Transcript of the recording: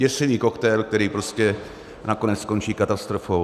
Děsivý koktejl, který prostě nakonec skončí katastrofou.